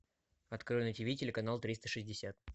открой на тв телеканал триста шестьдесят